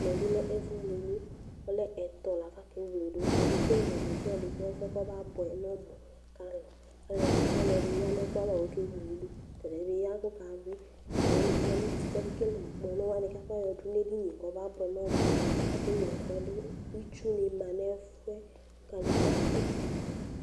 Ɛmɛ bi lɛ ɛfu wledu, ɔlɛ ɛtɔ̃ la k'aka ewledu, aka ekele desiade ku ɛfuɛ kɔba buɛ n'ɔmu k'alu, aluɛdini, ɔluɛdi ya nu ɛkuava k'ɔka ewledu, tɛdiɛ bi ya k'ɔka wuĩ, aluɛdini ya n'uti k'aka ekele ŋkpɔnuwani k'afɔ yɔdu nu edinìe k'ɔba buɛ n'ɔmu, aka ewle ɛfuɛ dù, itsu ni ma n'ɛfuɛ, ku kadegba dù